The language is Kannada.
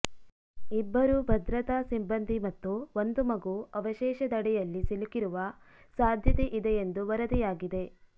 ಇಬ್ಬರು ಭದ್ರತಾ ಸಿಬ್ಬಂದಿ ಮತ್ತು ಒಂದು ಮಗು ಅವಶೇಷದಡಿಯಲ್ಲಿ ಸಿಲುಕಿರುವ ಸಾಧ್ಯತೆ ಇದೆ ಎಂದು ವರದಿಯಾಗಿದೆ